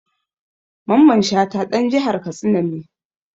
Mamman Shata ɗan jihar Katsina ne.